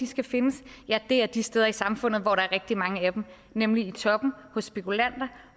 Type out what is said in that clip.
skal findes er de steder i samfundet hvor der er rigtig mange af dem nemlig i toppen hos spekulanter